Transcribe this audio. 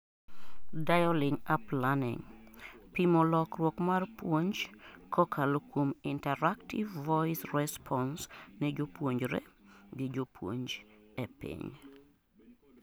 Dialing up learning:pimo lokruok mar puonj kokalo kuom interactive voice response ne jopuonjre gi jopuonj ei piny